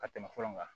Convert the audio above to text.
Ka tɛmɛ fɔlɔ kan